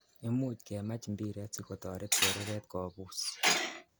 Imuch kemach mbiret sikotoret chereret kobus.